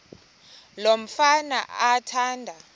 lo mfana athanda